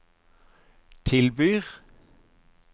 tilbyr